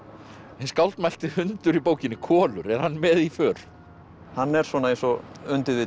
hinn hundur í bókinni Kolur er hann með í för hann er svona eins og